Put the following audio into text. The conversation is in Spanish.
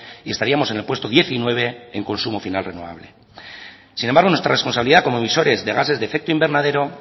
y estaríamos en el puesto diecinueve en consumo final renovable sin embargo nuestra responsabilidad como emisoras de gases de efecto invernadero